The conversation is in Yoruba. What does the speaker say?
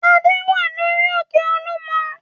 Adé wà lórí òkè Olúmọ.